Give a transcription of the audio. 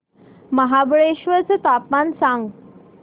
महाबळेश्वर चं तापमान सांग